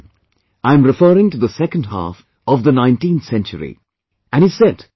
And he said it back then, I am referring to the second half of the 19th century